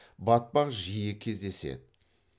батпақ жиі кездеседі